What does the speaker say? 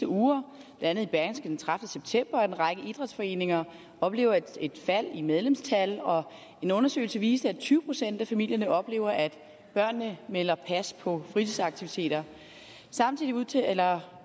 uger bla i berlingske den trettende september at en række idrætsforeninger oplever et fald i medlemstallet og en undersøgelse viser at tyve procent af familierne oplever at børnene melder pas på fritidsaktiviteter samtidig udtaler